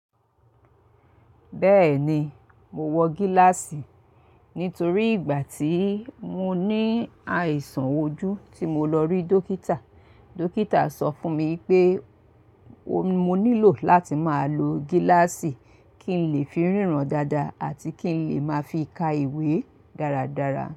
Bẹ́ẹ̀ni, mo wọ gíláàsì nítorí ìgbà tí mo ní àìsàn ojú tí mo lọ rí dókítà, dókítà sọ fún mi pé mo nílò láti máa lo gíláàsì kí n lè fi ríran dáadáa àti kí n lè máa fi ka ìwé dáradára.